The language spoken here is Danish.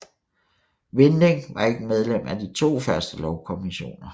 Vinding var ikke medlem af de to første lovkommissioner